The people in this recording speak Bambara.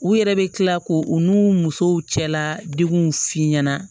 U yɛrɛ bɛ kila k'o u n'u musow cɛla deguw f'i ɲɛna